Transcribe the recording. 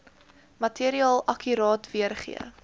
materiaal akkuraat weergee